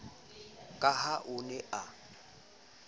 ka ha o ne a